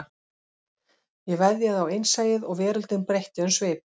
Ég veðjaði á innsæið og veröldin breytti um svip